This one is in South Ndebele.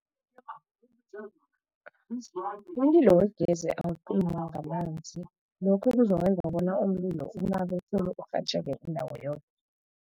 Umlilo wegezi awucinywa ngamanzi, lokho kuzokwenza bona umlilo unabe khulu, urhatjheke indawo yoke.